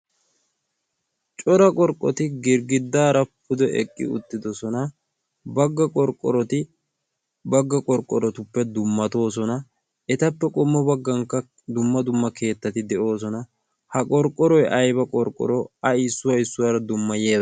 Cora qorqqoti girggiddaara pude eqqi uttidosona bagga qorqqoroti bagga qorqqorotuppe dummatoosona. etappe qommo baggankka dumma dumma keettati de'oosona. ha qorqqoroy ayba qorqqoro a issuwa issuwaara dummayiga.